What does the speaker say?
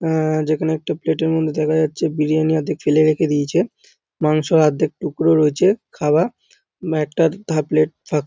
আ যেখানে একটি প্লেট -এর মধ্যে দেখা যাচ্ছে বিরিয়ানি আর্ধেক ফেলে রেখে দিয়েছে মাংস আর্ধেক টুকরো রয়েছে খাওয়া । একটার থা প্লেট ফাক --